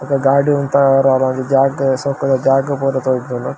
ಬೊಕ್ಕ ಗಾಡಿ ಉಂತಾವರೆ ಜಾಗ್ ಶೋಕುದ ಜಾಗ್ ಪೂರ ತೊಜುಂಡ್ .